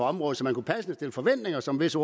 området så man kunne passende have forventninger som visse